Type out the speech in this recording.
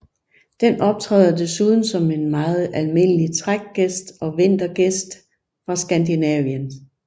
Den optræder desuden som en meget almindelig trækgæst og vintergæst fra Skandinavien